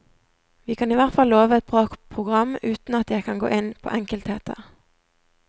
Vi kan ihvertfall love et bra program, uten at jeg kan gå inn på enkeltheter.